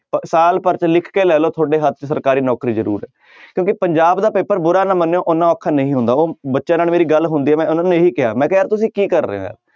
ਭ~ ਸਾਲ ਭਰ 'ਚ ਲਿਖ ਕੇ ਲੈ ਲਓ ਤੁਹਾਡੇ ਹੱਥ 'ਚ ਸਰਕਾਰੀ ਨੌਕਰੀ ਜ਼ਰੂਰ ਹੈ ਕਿਉਂਕਿ ਪੰਜਾਬ ਦਾ ਪੇਪਰ ਬੁਰਾ ਨਾ ਮੰਨਿਓ ਓਨਾ ਔਖਾ ਨਹੀਂ ਹੁੰਦਾ ਉਹ ਬੱਚਿਆਂ ਨਾਲ ਮੇਰੀ ਗੱਲ ਹੁੰਦੀ ਹੈ ਮੈਂ ਉਹਨਾਂ ਨੂੰ ਇਹੀ ਕਿਹਾ ਮੈਂ ਕਿਹਾ ਯਾਰ ਤੁਸੀਂ ਕੀ ਕਰ ਰਹੇ ਹੋ ਯਾਰ